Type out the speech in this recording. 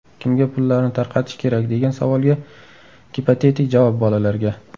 Kimga pullarni tarqatish kerak, degan savolga gipotetik javob bolalarga.